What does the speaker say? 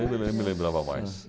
Nem me nem me lembrava mais.